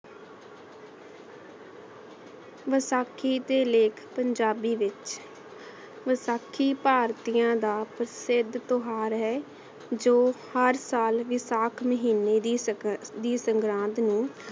ਵਸਾਖੀ ਦੇ ਲੇਖ ਪੰਜਾਬੀ ਵਿਚ ਵਸਾਖੀ ਭਰ੍ਤਿਯਾਂ ਦਾ ਪ੍ਰਸਿੱਧ ਤਿਉਹਾਰ ਹੈ ਜੋ ਹਰ ਸਾਲ ਵਿਸਾਖ ਮਹੀਨੇ ਦੀ ਸੰਕ੍ਰਾਂਤ ਨੂ